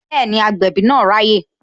Bẹẹni, agbẹ̀bí náà raye